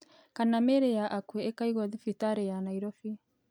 Kana mĩĩrĩ ya akũo ĩkaigwo thĩbĩtari ya Nairobi